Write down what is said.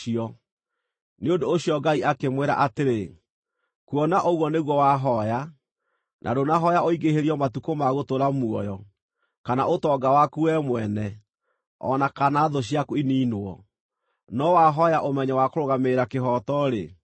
Nĩ ũndũ ũcio Ngai akĩmwĩra atĩrĩ, “Kuona ũguo nĩguo wahooya, na ndũnahooya ũingĩhĩrio matukũ ma gũtũũra muoyo, kana ũtonga waku wee mwene, o na kana thũ ciaku iniinwo, no wahooya ũmenyo wa kũrũgamĩrĩra kĩhooto-rĩ,